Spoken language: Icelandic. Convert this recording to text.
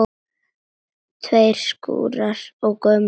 Tveir skúrkar og gömul kona